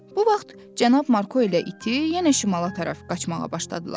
Bu vaxt Cənab Marko elə iti yenə şimala tərəf qaçmağa başladılar.